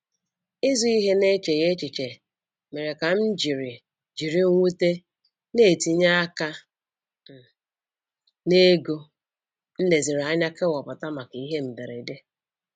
Ịzụ ihe n'echeghị echiche mere ka m jiri m jiri mwute na-etinye aka um n'ego m leziri anya kewapụta maka ihe mberede.